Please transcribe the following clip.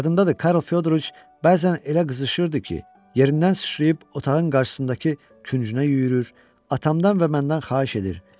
Yadımdadır, Karl Fyodoroviç bəzən elə qızışırdı ki, yerindən sıçrayıb otağın qarşısındakı küncünə yüyürür, atamdan və məndən xahiş edir.